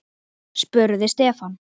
spurði Stefán.